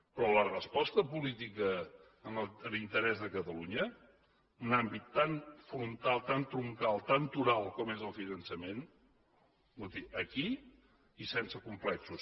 però la resposta política en interès de catalunya un àmbit tan frontal tan troncal tan toral com és el finançament escolti aquí i sense complexos